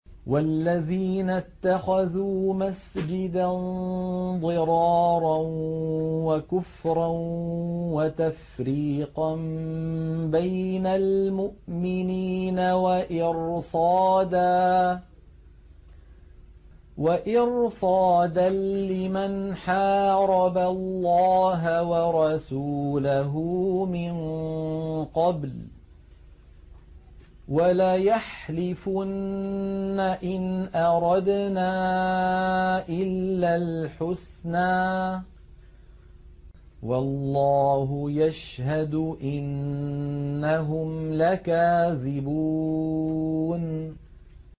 وَالَّذِينَ اتَّخَذُوا مَسْجِدًا ضِرَارًا وَكُفْرًا وَتَفْرِيقًا بَيْنَ الْمُؤْمِنِينَ وَإِرْصَادًا لِّمَنْ حَارَبَ اللَّهَ وَرَسُولَهُ مِن قَبْلُ ۚ وَلَيَحْلِفُنَّ إِنْ أَرَدْنَا إِلَّا الْحُسْنَىٰ ۖ وَاللَّهُ يَشْهَدُ إِنَّهُمْ لَكَاذِبُونَ